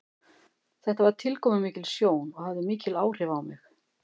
Þetta var tilkomumikil sjón og hafði mikil áhrif á mig.